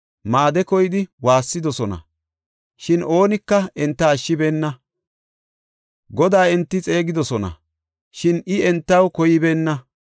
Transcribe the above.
Maade koyidi waassidosona; shin oonika enta ashshibeenna. Godaa enti xeegidosona; shin I entaw koybeenna.